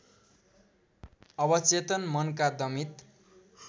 अवचेतन मनका दमित